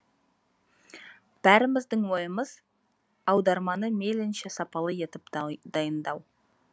бәріміздің ойымыз аударманы мейлінше сапалы етіп дайындау